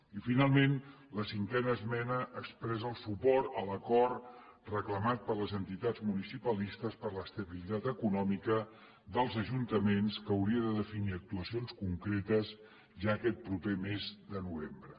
i finalment la cinquena esmena expressa el suport a l’acord reclamat per les entitats municipalistes per a l’estabilitat econòmica dels ajuntaments que hauria de definir actuacions concretes ja aquest proper mes de novembre